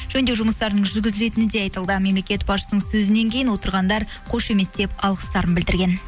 жөндеу жұмыстарының жүргізілетіні де айтылды мемлекет басшысының сөзінен кейін отырғандар қошеметтеп алғыстарын білдірген